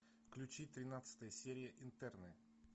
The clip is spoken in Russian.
включи тринадцатая серия интерны